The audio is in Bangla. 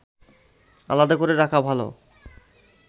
আলাদা করে রাখা ভালো